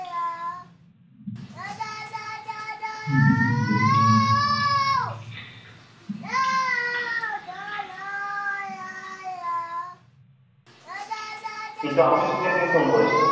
কিন্তু আমি সুখেন কে phone করেছিলাম।